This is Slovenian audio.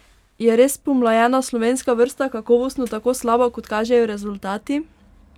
Je res pomlajena slovenska vrsta kakovostno tako slaba kot kažejo rezultati?